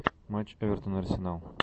матч эвертон арсенал